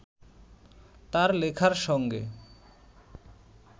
তাঁর লেখার সঙ্গে